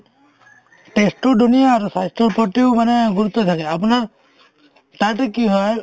test তো ধুনীয়া আৰু স্বাস্থ্যৰ প্ৰতিও মানে গুৰুত্ব দি থাকে আপোনাৰ তাতে কি হয়